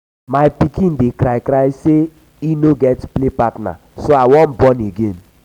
my pikin dey cry cry say he no get play partner so i wan born again.